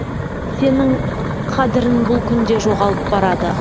сенің қадірін бұл күнде жоғалып барады